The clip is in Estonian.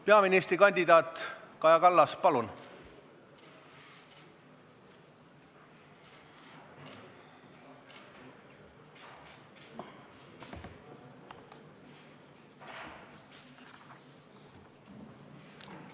Peaministrikandidaat Kaja Kallas, palun!